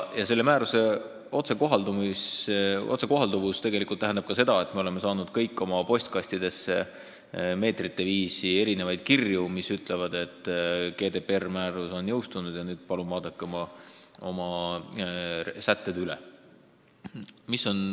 Ja selle määruse otsekohalduvus tähendab ka seda, et me kõik oleme saanud oma postkastidesse meetrite viisi kirju, mis ütlevad, et GDPR-määrus on jõustunud ja palun vaadake nüüd oma sätted üle.